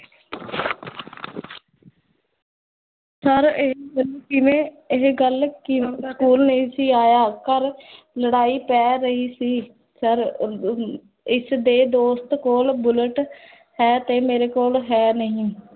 sir ਇਹ ਕਿਵੇਂ, ਇਹ ਗਲ ਕਿਵੇਂ ਸਕੂਲ ਨਹੀ ਸੀ ਆਇਆ ਘਰ ਲੜਾਈ ਪੈ ਗਈ ਸੀ sir ਇਸਦੇ ਦੋਸਤ ਕੋਲ bullet ਹੈ, ਤੇ ਮੇਰੇ ਕੋਲ ਹੈ ਨਹੀ